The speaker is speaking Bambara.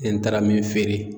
Ni n taara min feere